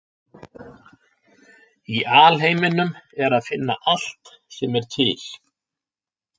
Í alheiminum er að finna allt sem er til.